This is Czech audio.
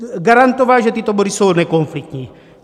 Garantoval, že tyto body jsou nekonfliktní.